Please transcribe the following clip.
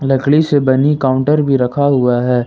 लकड़ी से बनी काउंटर भी रखा हुआ है।